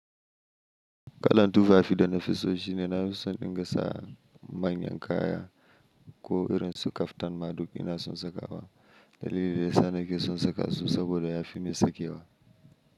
Kallan tufafi da nafiso shine nafi son dinga sa manyan kaya ko irin su kaftan madub ina son saka wa. Dalili da ya sa nake son saka su saboda ya fi ni sakewa.